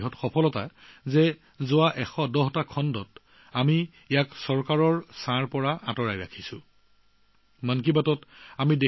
এই ১১০টা খণ্ডলৈকে আমি চৰকাৰৰ আঁওতাৰ পৰা আঁতৰাই ৰখাটো মন কী বাতৰ এক বৃহৎ সফলতা